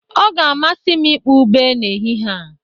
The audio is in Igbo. Ọ ga-amasị m ịkpọ ube n'ehihie a